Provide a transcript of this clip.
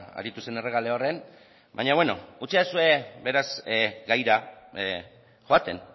aritu zen errekaleorren baina bueno utzidazue beraz gaira joaten